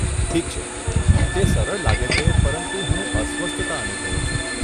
ઠીક છે, તે સરળ લાગે છે પરંતુ હું અસ્વસ્થતા અનુભવું છું.